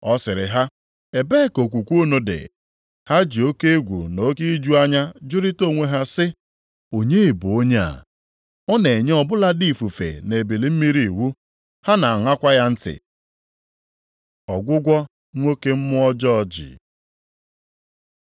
Ọ sịrị ha, “Ebee ka okwukwe unu dị?” Ha ji oke egwu na oke iju anya jụrịta onwe ha sị, “Onye bụ onye a? Ọ na-enye ọ bụladị ifufe na ebili mmiri iwu, ha na-aṅakwa ya ntị.” Ọgwụgwọ nwoke mmụọ ọjọọ ji